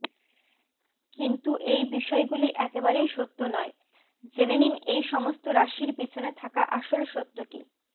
কিন্তু এই বিষয়গুলি একেবারেই সত্য নয় জেনে নিন এই সমস্ত রাশির পিছনে থাকা আসল সত্যটি